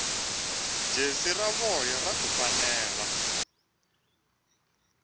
jesi ra voya ra kufumela